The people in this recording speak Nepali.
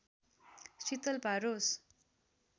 शीतल पारोस्